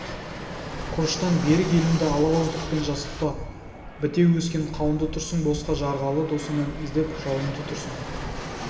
құрыштан берік елімді ала ауыздықпен жасытпа бітеу өскен қауынды тұрсың босқа жарғалы досыңнан іздеп жауыңды тұрсың